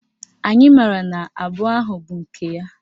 Anyị maara na abụọ ahụ bụ nke ya